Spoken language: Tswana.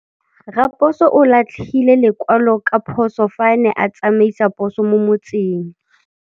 Raposo o latlhie lekwalô ka phosô fa a ne a tsamaisa poso mo motseng.